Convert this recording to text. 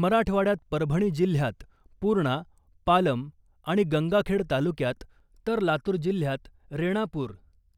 मराठवाड्यात परभणी जिल्ह्यात पूर्णा , पालम आणि गंगाखेड तालुक्यात तर लातूर जिल्ह्यात रेणापूर ,